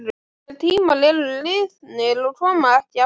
Þeir tímar eru liðnir og koma ekki aftur.